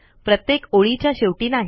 प्रत्येक ओळीच्या शेवटी नाही